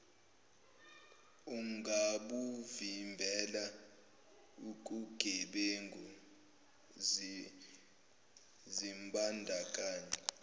ungabuvimbela ukugebengu zimbandakanye